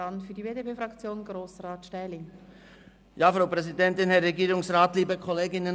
Für die BDP-Fraktion spricht nun Grossrat Stähli.